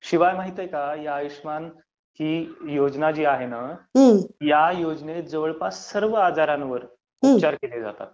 शिवाय माहित आहे का, ही आयुष्यमान योजना जी आहे ना, ह्याच्यात जवळपास सर्व आजारांवर उपचार केले जातात.